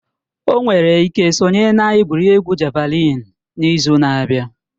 O nwere ike sonye na egwuregwu javalịn n'izu na-abịa